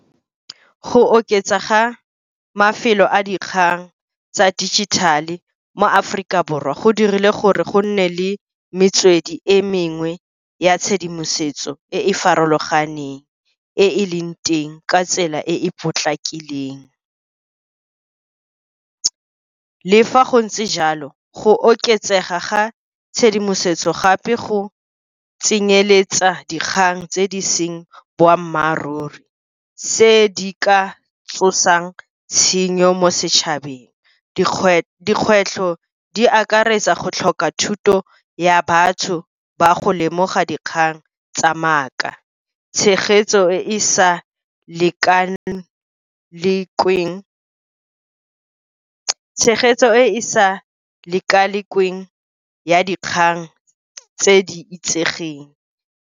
Go oketsa ga mafelo a dikgang tsa digital-e mo Aforika Borwa go dirile gore go nne le metswedi e mengwe ya tshedimosetso, e e farologaneng e e leng teng ka tsela e e potlakileng. Le fa go ntse jalo go oketsega ga tshedimosetso gape go tsenyeletsa dikgang tse di seng boammaaruri, tse di ka tsosang tshenyo mo setšhabeng. Dikgwetlho di akaretsa go tlhoka thuto ya batho ba go lemoga dikgang tsa maaka, tshegetso e e sa lekalekweng ya dikgang tse di itsegeng.